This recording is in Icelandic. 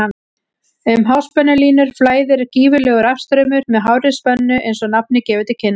Um háspennulínur flæðir gífurlegur rafstraumur með hárri spennu eins og nafnið gefur til kynna.